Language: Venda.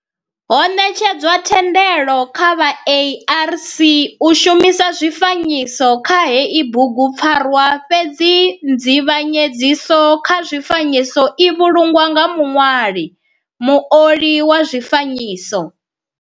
Ho netshedzwa thendelo kha vha ARC u shumisa zwifanyiso kha heyi bugu pfarwa fhedzi nzivhanyedziso kha zwifanyiso i vhulungwa nga muṋwali, muoli wa zwifanyiso.